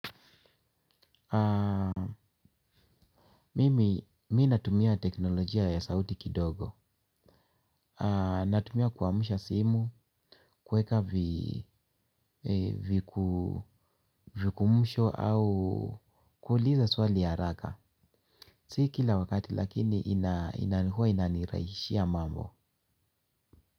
Mimi, mi natumia teknolojia ya sauti kidogo. Natumia kuamsha simu, kuweka virukumsho au kuuliza swali ya haraka. Si kila wakati lakini inanikua inanirahisishia mambo.